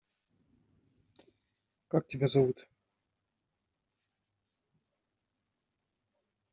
как тебя зовут